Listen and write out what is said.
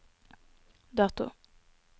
dato